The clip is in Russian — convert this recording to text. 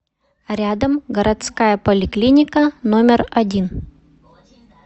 рядом городская поликлиника номер один